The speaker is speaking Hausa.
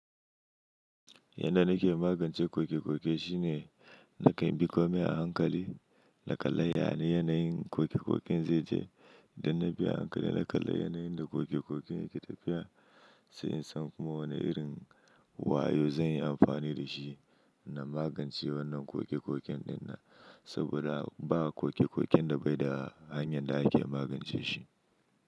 Yanda nake magance koke-koke shine, na kan bi komi a hankali, na kalla yane yana yin koke-koken zai je, idan na bi a hankali na kalla yanayin da koke-koken yake tafiya, sai in san kuma wane irin wayo zan yi amfani da shi, na magance wannan koke-koken ɗin nan. Saboda ba koke-koken da baida hanyar da ake magance shi.